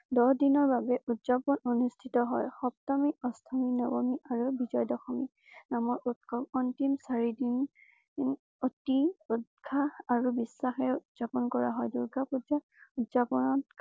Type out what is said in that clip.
দহ দিনৰ বাবে উদযাপন অনুষ্ঠিত হয়। সপ্তমী অষ্টমী নৱমী আৰু বিজয় দশমী আমাৰ উৎসৱ অন্তিম চাৰি দিন অতি উৎসাহ আৰু বিশ্বাসেৰে উদযাপন কৰা হয়। দুৰ্গা পূজা উদযাপনক